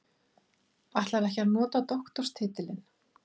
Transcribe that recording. Ætlar ekki að nota doktorstitilinn